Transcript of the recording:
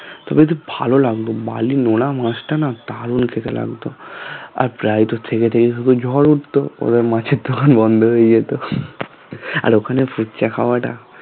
এবং কি ভালো লাগতো বালি নোনা মাছটা না দারুন খেতে লাগতো আর প্রায়ত থেকে থেকে শুধু ঝড় উঠতো এবং মাছের দোকান বন্ধ হয়ে যেত আর ওখানে ফুচকা খাওয়াটা